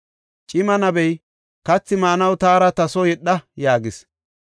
Cima nabey, “Kathi maanaw taara ta soo yedha” yaagis.